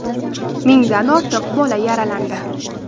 Mingdan ortiq bola yaralandi.